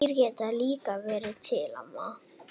Dýr geta líka verið til ama